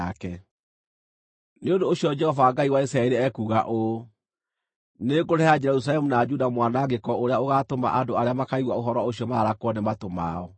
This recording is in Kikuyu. Nĩ ũndũ ũcio Jehova Ngai wa Isiraeli ekuuga ũũ: Nĩngũrehere Jerusalemu na Juda mwanangĩko ũrĩa ũgaatũma andũ arĩa makaigua ũhoro ũcio mararakwo nĩ matũ mao.